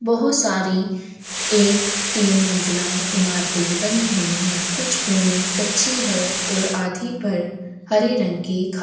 बहोत सारी एक तीन मंजिलाये इमारते बनी हुई है कुछ भूमि कच्ची है और आधी पर हरे रंग के घा--